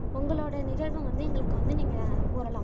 உங்களோட நிகழ்வ வந்து எங்களுக்கு வந்து நீங்க கூறலாம்